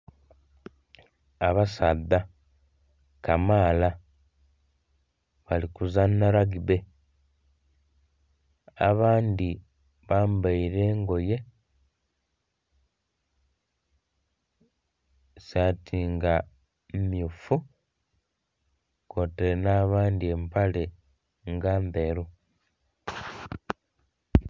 Abasaadha kamaala bali kuzanha lagibbe abandhi bambaire engoye, saati nga mmyufu kw'otaire n'abandhi empale nga ndheru.